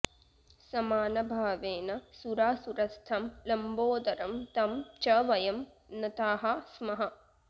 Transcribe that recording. समानभावेन सुरासुरस्थं लम्बोदरं तं च वयं नताः स्मः